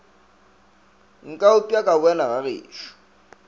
nka upša ka boela gagešo